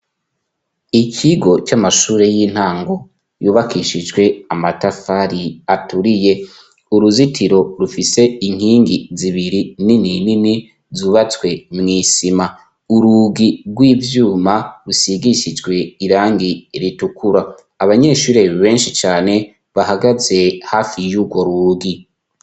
ikigo cy'amashure y'intango yubakishijwe amatafari aturiye uruzitiro rufise inkingi zibiri nini nini zubatswe mu isima uruugi rw'ibyuma rusigishijwe irangi ritukura abanyeshuri benshi cyane bahagaze hafi yugo ruugi